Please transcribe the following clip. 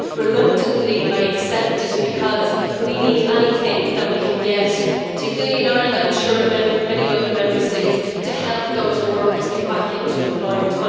reluctantly, I accept it because we need anything that we can get, particularly in Ireland, and I am sure in many other Member States, to help those workers get back into employment.